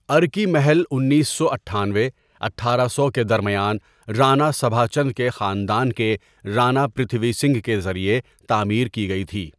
ارکی محل انیس سو اٹھانوے اٹھارہ سو کے درمیان رانا سبھا چند کے خاندان کے رانا پرتھوی سنگھ کے ذریعے تعمیر کی گئی تھی.